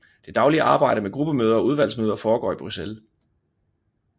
Det daglige arbejde med gruppemøder og udvalgsmøder foregår i Bruxelles